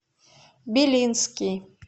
белинский